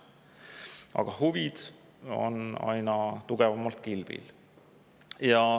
Ent huvid on aina tugevamalt kilbil.